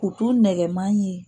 Kutu nɛgɛman ye.